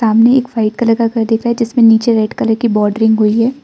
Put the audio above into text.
सामने एक white colour का घर दिख रहा है जिसमें नीचे रेड कलर की बॉर्डरिंग हुई है।